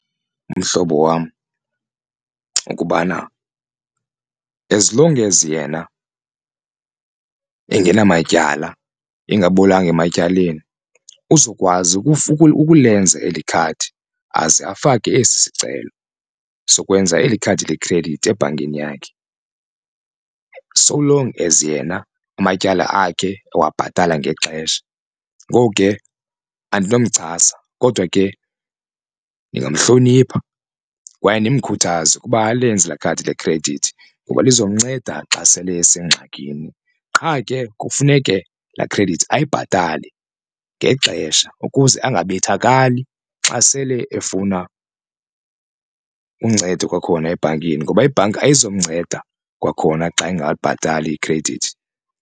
Mhlobo wam, ukubana as long as yena engenamatyala engabolanga ematyaleni uzokwazi ukulenza eli khadi aze afake esi sicelo sokwenza eli khadi lekhredithi ebhankini yakhe. So long as yena amatyala akhe ewabhatala ngexesha. Ngoku ke andinomchasa kodwa ke ndingamhlonipha kwaye ndimkhuthaze ukuba alenze khadi lekhredithi ngoba lizomnceda xa sele esengxakini. Qha ke kufuneke la khredithi ayibhatale ngexesha ukuze ungabethakali xa sele efuna uncedo kwakhona ebhankini ngoba ibhanki ayizomnceda kwakhona xa engabhatali ikhredithi.